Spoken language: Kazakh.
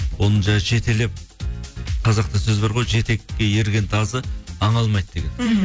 оны жаңа жетелеп қазақта сөз бар ғой жетекке ерген тазы аң алмайды деген мхм